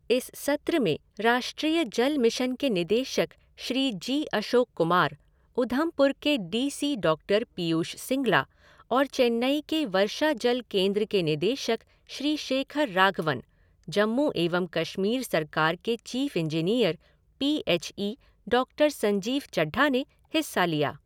इस सत्र में राष्ट्रीय जल मिशन के निदेशक श्री जी अशोक कुमार, ऊधमपुर के D C doctor Piyush Singla और चेन्नई के वर्षाजल केंद्र के निदेशक श्री शेखर राघवन, जम्मू एवं कश्मीर सरकार के chief engineer P H E doctor Sanjeev Chadha ने हिस्सा लिया।